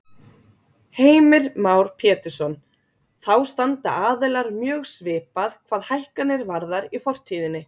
Heimir Már Pétursson: Þá standa aðilar mjög svipað hvað hækkanir varðar í fortíðinni?